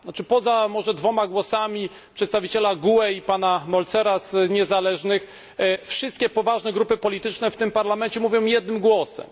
Poza może dwoma głosami przedstawiciela GUE i pana Mölzera z frakcji niezależnych wszystkie poważne grupy polityczne w tym Parlamencie mówią jednym głosem.